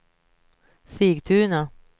Sigtuna